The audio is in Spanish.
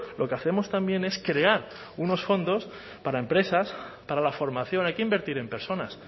lo que hacemos también es crear unos fondos para empresas para la formación hay que invertir en personas